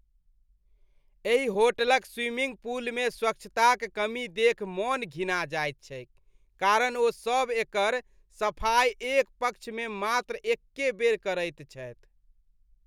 एहि होटलक स्विमिंग पूलमे स्वच्छताक कमी देखि मन घिना जाइत छैक कारण ओ सब एकर सफाइ एक पक्षमे मात्र एके बेर करैत छथि।